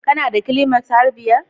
kana da har biyar climax